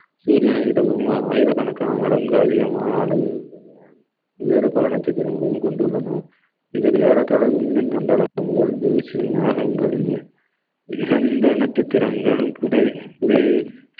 சூரியனை விடவும் ஆயிரக்கணக்கான மடங்கு அதிகமான அளவில் உள்ளது வேறு பல நட்சத்திரங்களையும் கொண்டுள்ளன இதில் ஏறத்தாழ விண்மீன் மண்டல பூங்கா தூசி நகங்கள் ஏன் எந்த நட்சத்திரங்களும் புதை புதை